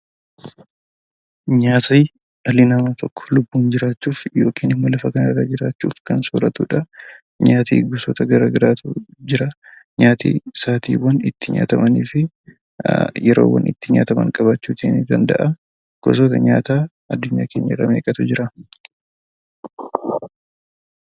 Nyaatni dhali nama tokko lubbuun jiraachuuf yookiin immoo lafaa kana irra jiraachuuf kan sooratudha. Nyaata bifoota gara garaatu jira. Nyaati sa'atiwaan itti nyaatamanni fi yeroowwaan itti nyaatamaan qabachuutti danda'a. Gosoota nyaata aadduunyaa keenyaa irraa meqatu jira?